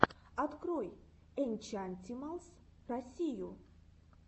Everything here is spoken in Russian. открой энчантималс россию